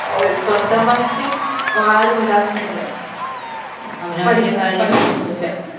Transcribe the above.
ഒരു സ്വന്തമായിട്ട് ആരും ഇതാക്കുന്നില്ല